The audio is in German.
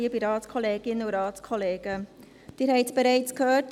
Sie haben es bereits gehört: